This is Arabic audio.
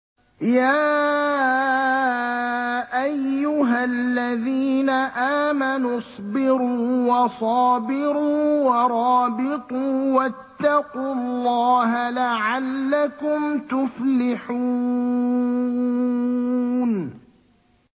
يَا أَيُّهَا الَّذِينَ آمَنُوا اصْبِرُوا وَصَابِرُوا وَرَابِطُوا وَاتَّقُوا اللَّهَ لَعَلَّكُمْ تُفْلِحُونَ